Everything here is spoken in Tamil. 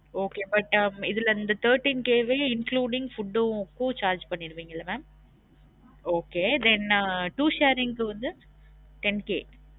Okay but ஹம் இதுல இந்த thirteen K வே including food க்கும் charge பன்னிடுவிங்கல mam okay then two sharing க்கு வந்து ten K